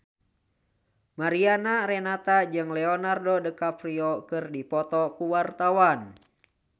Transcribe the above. Mariana Renata jeung Leonardo DiCaprio keur dipoto ku wartawan